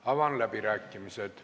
Avan läbirääkimised.